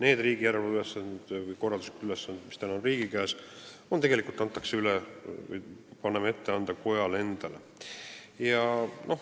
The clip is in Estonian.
Me paneme ette anda need järelevalve- või korralduslikud ülesanded, mis on riigi käes, kojale endale.